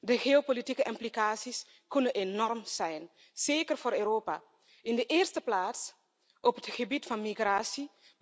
De geopolitieke implicaties kunnen enorm zijn, zeker voor Europa, in de eerste plaats op het gebied van migratie.